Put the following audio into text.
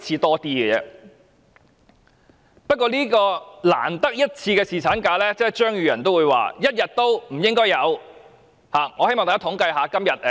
可是，對於這個難得一次的侍產假，張宇人議員卻認為連1天也不應該有。